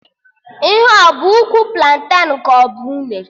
Ihe ahụ a bụ ụkwụ planten ka ọ bụ unere?